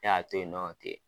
Ne y'a to yen nɔ ten.